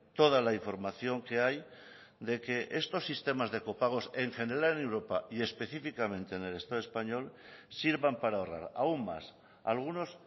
toda la información que hay de que estos sistemas de copagos en general en europa y específicamente en el estado español sirvan para ahorrar aún más algunos